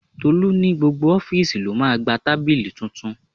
Tolu ní gbogbo ofiisi ló máa gba tábìlì tuntun.